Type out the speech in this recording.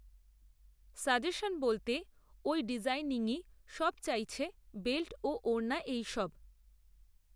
suggestion বলতে ওই ডিজাইনিংই সব চাইছে বেল্ট ও ওড়না এইসব